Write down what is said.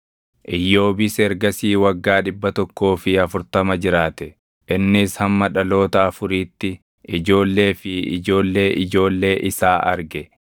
Iyyoobis ergasii waggaa dhibba tokkoo fi afurtama jiraate; innis hamma dhaloota afuriitti ijoollee fi ijoollee ijoollee isaa arge.